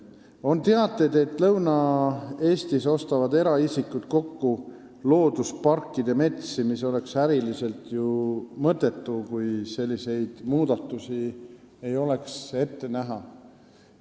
On teateid, et Lõuna-Eestis ostavad eraisikud kokku loodusparkide metsi, mis oleks ju äriliselt mõttetu, kui selliseid muudatusi ei oleks ette näha.